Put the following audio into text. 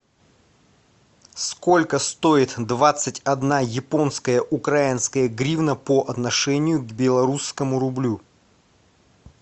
сколько стоит двадцать одна японская украинская гривна по отношению к белорусскому рублю